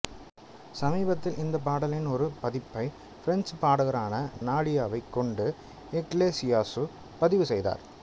சமீபத்தில் இந்த பாடலின் ஒரு பதிப்பை பிரெஞ்சு பாடகரான நாடியாவைக் கொண்டு இக்லெசியாசு பதிவு செய்தார்